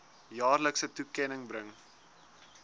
jaarlikse toekenning bring